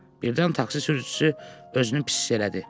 Birdən taksi sürücüsü özünü pis hiss elədi.